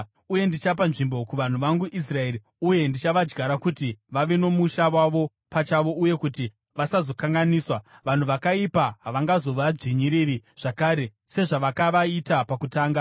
Uye ndichapa nzvimbo kuvanhu vangu Israeri uye ndichavadyara kuti vave nomusha wavo pachavo uye kuti vasazokanganiswa. Vanhu vakaipa havangazovadzvinyiriri zvakare sezvavakavaita pakutanga